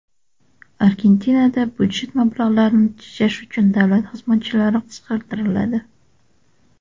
Argentinada budjet mablag‘larini tejash uchun davlat xizmatchilari qisqartiriladi.